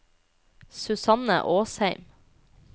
Susanne Åsheim